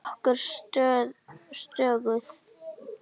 Hún er nokkuð stöðug.